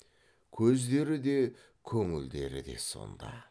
көздері де көңілдері де сонда